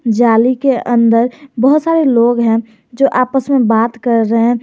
जाली के अंदर बहुत सारे लोग हैं जो आपस में बात कर रहे हैं।